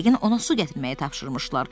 Yəqin ona su gətirməyi tapşırmışlar.